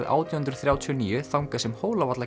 átján hundruð þrjátíu og níu þangað sem